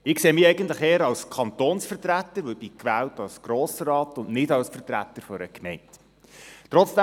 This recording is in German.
Ich sehe mich eher als Kantonsvertreter, weil ich als Grossrat und nicht als Vertreter einer Gemeinde gewählt bin.